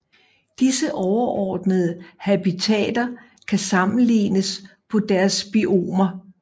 Disse overordnede habitater kan sammelignes på deres biomer